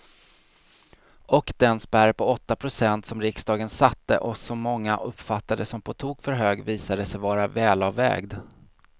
Och den spärr på åtta procent som riksdagen satte och som många uppfattade som på tok för hög visade sig vara välavvägd.